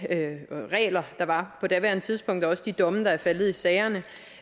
regler der var på daværende tidspunkt og også de domme der er faldet i sagerne